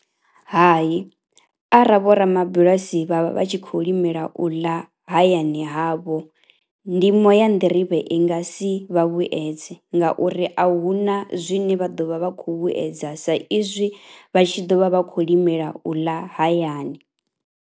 Hayi ara vhorabulasi vha vha vha tshi khou limela u ḽa hayani havho ndimo ya nḓirivhe i nga si vha vhuyedze ngauri a hu na zwine vha ḓo vha vha khou vhuedza sa izwi vha tshi ḓo vha vha khou limela u ḽa hayani.